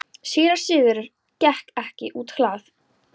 Síra Sigurður gekk út á hlað.